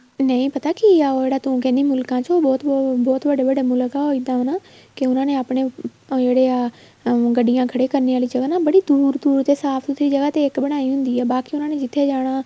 ਨਹੀਂ ਪਤਾ ਕੀ ਆ ਉਹ ਜਿਹੜਾ ਤੂੰ ਕਹਿਣੀ ਆ ਮੁਲਕਾਂ ਚ ਉਹ ਬਹੁਤ ਵੱਡੇ ਵੱਡੇ ਮੁਲਕ ਆ ਉਹ ਇੱਦਾਂ ਨਾ ਕੇ ਉਹਨਾ ਨੇ ਆਪਣੇ ਜਿਹੜੇ ਆ ਗੱਡੀਆਂ ਖੜੀਆਂ ਕਰਨੇ ਆਲੀ ਜਗ੍ਹਾ ਨਾ ਬੜੀ ਦੂਰ ਦੂਰ ਤੇ ਸਾਫ਼ ਸੁਥਰੀ ਜਗਾਂ ਤੇ ਇੱਕ ਬਣਾਈ ਹੁੰਦੀ ਆ ਬਾਕੀ ਉਹਨਾ ਨੇ ਜਿੱਥੇ ਜਾਣਾ